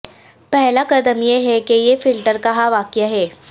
پہلا قدم یہ ہے کہ یہ فلٹر کہاں واقع ہے